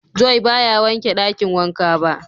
"Joy" ba ya wanke dakin wanka ba.